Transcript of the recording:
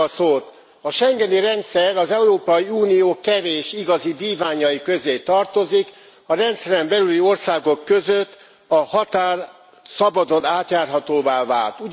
A schengeni rendszer az Európai Unió kevés igazi vívmányai közé tartozik, a rendszeren belüli országok között a határ szabadon átjárhatóvá vált.